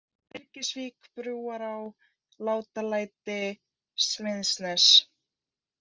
Byrgisvík, Brúará, Látalæti, Smiðsnes